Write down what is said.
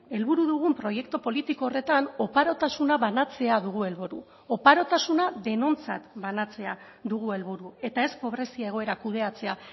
helburu dugun proiektu politiko horretan oparotasuna banatzea dugu helburu oparotasuna denontzat banatzea dugu helburu eta ez pobrezia egoera kudeatzea